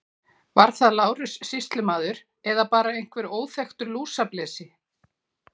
Var það Lárus sýslumaður eða bara einhver óþekktur lúsablesi.